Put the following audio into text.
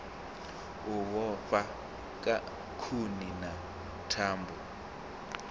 u vhofha khuni na thambo